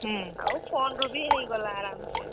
ଆଉ phone ରୁ ବି ହେଇଗଲା ଆରାମ୍ ସେ।